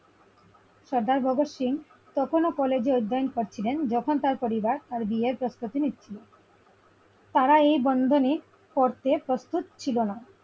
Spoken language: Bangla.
সর্দার ভগৎ সিং তখনও college এ জয়েন join যখন তার পরিবার তার বিয়ের প্রস্তুতি নিচ্ছিল। তারা এই বন্ধনে পড়তে প্রস্তুত ছিল না ।